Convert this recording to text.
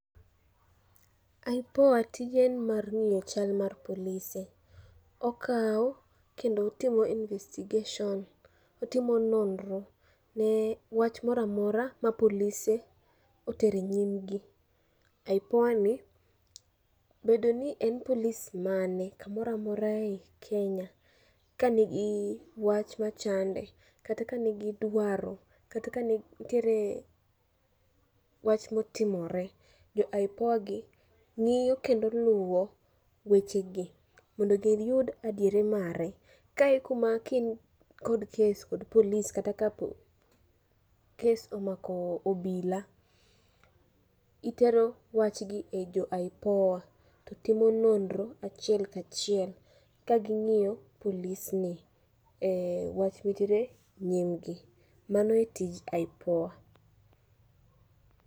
IPOA tije en mar ng'iyo chal mar polise. Okawo kendo otimo investigation, otimo nonro ne wach mora mora ma polise otere nyimgi. IPOA ni, bedo ni en polis mane kamora mora ei Kenya, ka nigi wach mora mora ma chande, ka nigi dwaro, kata ka nitiere wach motimore. Jo IPOA gi ng'iyo kendo luwo weche gi mondo giyud adiera mare. Kae e kuma ka in kod kes kod polis kata ka kes omako obila, itero wach ni e jo IPOA to timo nonro achiel kachiel ka ging'iyo polis ni e wach motere nyim gi, mano e tij IPOA.